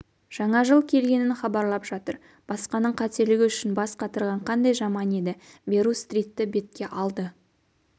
жаңа жыл келгенін хабарлап жатыр басқаның қателігі үшін бас қатырған қандай жаман еді берру-стритті бетке алды